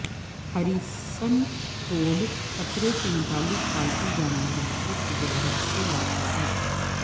Harrison Ford خطرے سے متعلق پالتو جانوروں کی تجارت سے لڑتا ہے